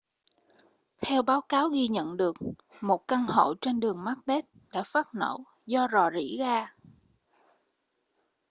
theo báo cáo ghi nhận được một căn hộ trên đường macbeth đã phát nổ do rò rỉ ga